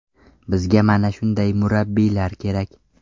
Bizga mana shunday murabbiylar kerak.